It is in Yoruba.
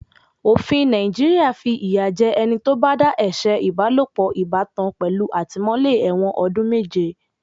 Òfin Nàìjíríà fi ìyà jẹ ẹni tó bá dá ẹ̀ṣẹ̀ ìbálòpọ̀ ìbátan pẹ̀lú àtìmó-ẹ̀wọ̀n ọdún méje.